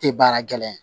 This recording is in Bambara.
Tɛ baara gɛlɛn ye